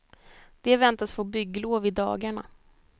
De väntas få bygglov i dagarna.